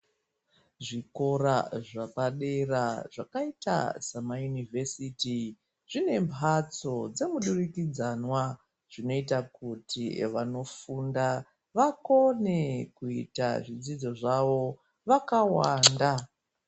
Zvikora zvepadera zvakaita samaunivhesiti zvinembatso dzemuturukidzanwa zvinoita kuti vanofunda vakone kuita zvidzidzo zvavo vakawanda.